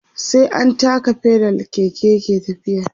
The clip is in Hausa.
sai an taka pedal Keke yake tafiya